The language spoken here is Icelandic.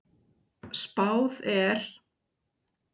Spáð er